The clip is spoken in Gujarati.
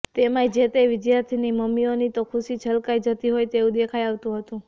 તેમાંય જે તે વિદ્યાર્થીની મમ્મીઓની તો ખુશી છલકાઈ જતી હોય તેવું દેખાઇ આવતું હતું